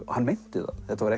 hann meinti það þetta var